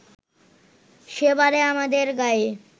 সেবারে আমাদের গাঁয়ে